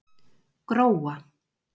Gróa